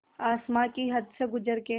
आसमां की हद से गुज़र के